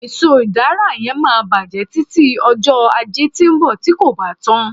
eso udara yen ma bajẹ tıti ọjọ aje ti nbọ ti ko ba ta